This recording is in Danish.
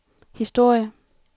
historie